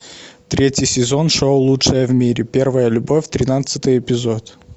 третий сезон шоу лучшая в мире первая любовь тринадцатый эпизод